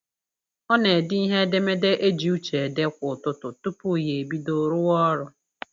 Ọ na-ede ihe edemede e ji uche ede kwa ụtụtụ tupu ya ebido rụwa ọrụ